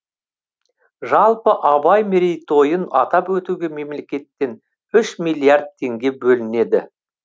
жалпы абай мерейтойын атап өтуге мемлекеттен үш миллиард теңге бөлінеді